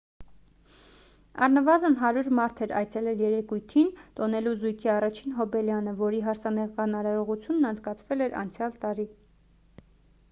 առնվազն 100 մարդ էր այցելել երեկույթին տոնելու զույգի առաջին հոբելյանը որի հարսանեկան արարողությունն անցկացվել էր անցյալ տարի